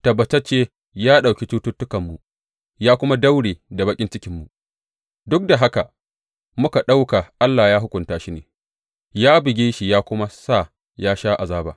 Tabbatacce ya ɗauki cututtukanmu ya kuma daure da baƙin cikinmu duk da haka muka ɗauka Allah ya hukunta shi ne, ya buge shi ya kuma sa ya sha azaba.